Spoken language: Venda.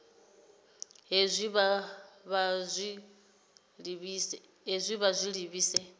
hezwi kha vha zwi livhise